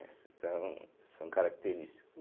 Então, são características.